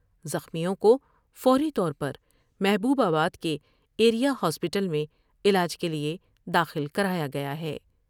زخمیوں کو فوری طور پر محبوب آباد کے ایریا ہاسپٹل میں علاج کے لئے داخل کرایا گیا ہے ۔